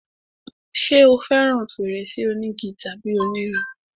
ṣé o fẹràn fèrèsé onígi tàbí onírin?